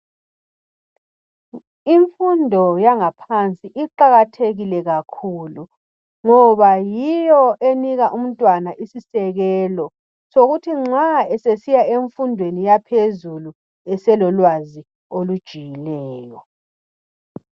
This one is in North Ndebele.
Imfundo yangaphansi iqakathekile kakhulu ngoba yiyo enika umntwana isisekelo sokuthi nxa esesiya emfundweni yaphezulu eselolwazi olujulileyo